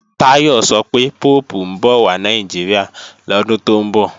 Táyọ̀ sọ pé Póòpù ń bọ̀ wà Nàìjíríà lọ́dún tó ń bọ̀